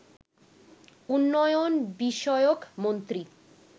উন্নয়ন বিষয়ক মন্ত্রী